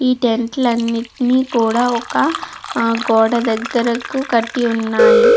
ఈ టెంట్ లు అన్నిటిని కూడా ఒక గోడ దగ్గరికు కట్టి ఉన్నాయి.